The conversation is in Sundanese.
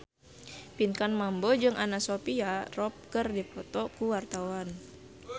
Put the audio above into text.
Pinkan Mambo jeung Anna Sophia Robb keur dipoto ku wartawan